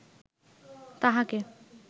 তাঁহাকে